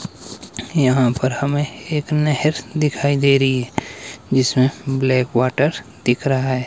यहां पर हमें एक नहर दिखाई दे रही जिसमें ब्लैक वाटर दिख रहा--